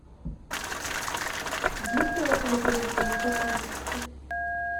есть ли в отеле предложения о сотрудничестве